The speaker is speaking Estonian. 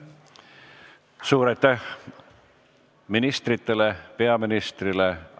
Suur aitäh ministritele ja peaministrile!